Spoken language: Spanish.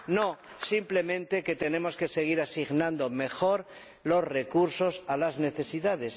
No, simplemente que tenemos que seguir asignando mejor los recursos a las necesidades.